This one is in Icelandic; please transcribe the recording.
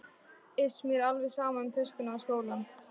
Iss, mér er alveg sama um töskuna og skólann